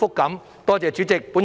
多謝代理主席。